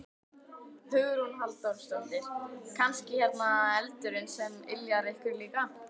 Hugrún Halldórsdóttir: Kannski hérna eldurinn sem yljar ykkur líka?